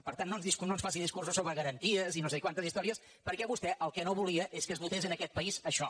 per tant no ens faci discursos sobre garanties i no sé quantes històries perquè vostè el que no volia és que es votés en aquest país això